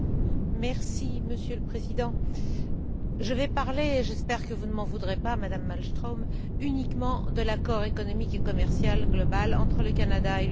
Monsieur le Président, je vais parler j'espère que vous ne m'en voudrez pas, Madame Malmström uniquement de l'accord économique et commercial global entre le Canada et l'Union européenne.